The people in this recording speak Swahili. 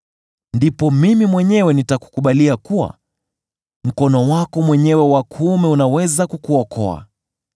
Ndipo mimi mwenyewe nitakukubalia kuwa mkono wako mwenyewe wa kuume unaweza kukuokoa.